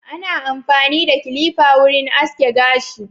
Ana amfani da kilifa wurin aske gashi.